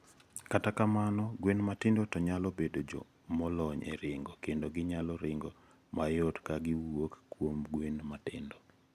55. Kata kamano, gwen matindo to nyalo bedo jo molony e ringo kendo ginyalo ringo mayot ka giwuok kuom gwen matindo.